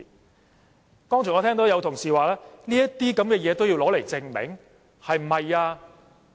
我剛才聽到有同事問，是否這些東西也要證明？